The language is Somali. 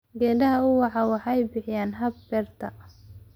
Geedaha ubaxa waxay bixiyaan hadh beerta.